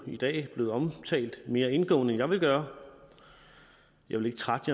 i dag blevet omtalt mere indgående end jeg ville gøre jeg vil ikke trætte